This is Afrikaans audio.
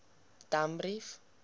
danbrief